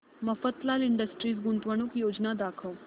Mafatlal industries गुंतवणूक योजना दाखव